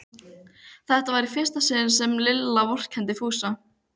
Þetta var í fyrsta sinn sem Lilla vorkenndi Fúsa.